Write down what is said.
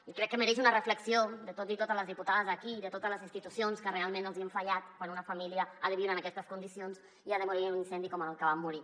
i crec que mereix una reflexió de tots i totes les diputades aquí i de totes les institucions que realment els hem fallat quan una família ha de viure en aquestes condicions i ha de morir en un incendi com en el que van morir